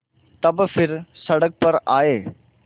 तब फिर सड़क पर आये